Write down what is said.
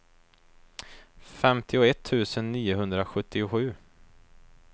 femtioett tusen niohundrasjuttiosju